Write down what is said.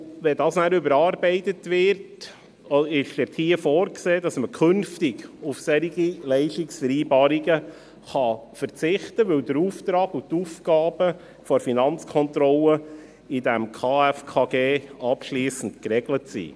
Wenn dieses überarbeitet wird, ist dabei vorgesehen, dass man künftig auf solche Leistungsvereinbarungen verzichten kann, weil der Auftrag und die Aufgaben der Finanzkontrolle im KFKG abschliessend geregelt sind.